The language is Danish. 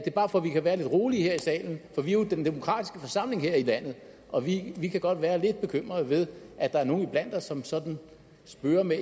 er bare for vi kan være lidt rolige her i salen for vi er jo den demokratiske forsamling her i landet og vi kan godt være lidt bekymrede ved at der er nogle iblandt os som sådan spøger med